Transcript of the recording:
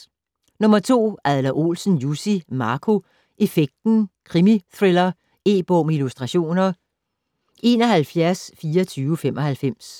Adler-Olsen, Jussi: Marco effekten: krimithriller E-bog med illustrationer 712495